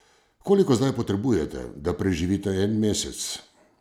Koliko zdaj potrebujete, da preživite en mesec?